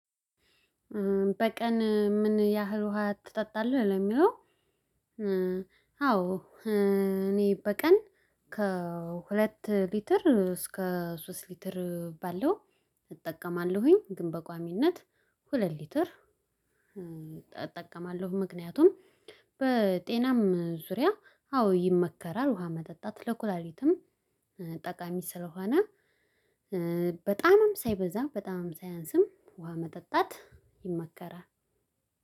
በቀን ምን ያህል ውሃ ትጠጣለህ ለሚለው? አዎ እኔ በቀን ከሁለት ሊትር እስከ ሶስት ሊትር ባለው እጠቀማለሁኝ ግን በቋሚነት ሁለት ሊትር እጠቀማለሁ። ምክንያቱም በጤናም ዙሪያ አዎ ይመከራል ውሃ መጠጣት ለኩላሊትም ጠቃሚ ስለሆነ። በጣምም ሳይበዛ በጣምም ሳያንስም ውሃ መጠጣት ይመከራል።